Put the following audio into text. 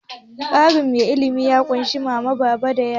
Ƙaramin iyali ya ƙunshi mama, baba da yara.